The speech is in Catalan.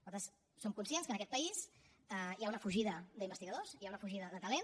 nosaltres som conscients que en aquest país hi ha una fugida d’investigadors hi ha una fugida de talent